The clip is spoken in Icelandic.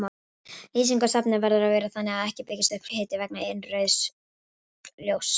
Lýsing á safni verður að vera þannig að ekki byggist upp hiti vegna innrauðs ljóss.